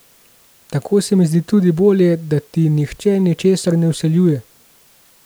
Tako se mi zdi tudi bolje, da ti nihče ničesar ne vsiljuje.